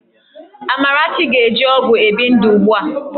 Amarachi na-eji ọgwụ ebi ndụ ugbu a